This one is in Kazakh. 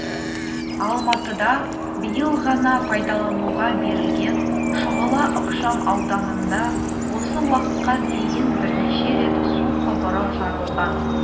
алматыда биыл ғана пайдалануға берілген шұғыла ықшам ауданында осы уақытқа дейін бірнеше рет су құбыры жарылған